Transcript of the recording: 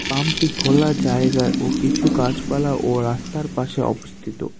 পাম্পটি খোলা জায়গায় ও কিছু গাছপালা ও রাস্তার পাশে অবস্থিত।